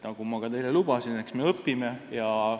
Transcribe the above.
Nagu ma teile lubasin, eks me õpime.